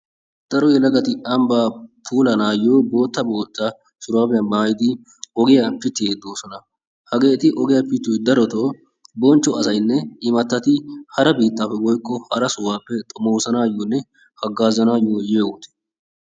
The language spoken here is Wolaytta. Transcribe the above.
Daro yelagati ambbaa puulaa naagiyo bootta bootta shuraabiya. maaayidi ogiya pittiiddi de"oosona. Hageeti ogiya pittiyoyi darotaa bonchcho asatinne imattati hara biittaappe woykko hara sohuwappe xomoosanaayyonne haggaazanaayyo yiyo wode.